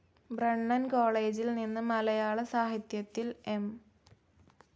Brennen കോളേജിൽ നിന്ന് മലയാള സാഹിത്യത്തിൽ എം.